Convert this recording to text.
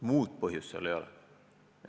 Muud põhjust seal ei ole.